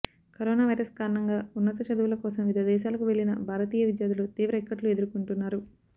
corona virus కారణంగా ఉన్నత చదువుల కోసం వివిధ దేశాలకు వెళ్లిన భారతీయ విద్యార్ధులు తీవ్ర ఇక్కట్లు ఎదుర్కొంటున్నారు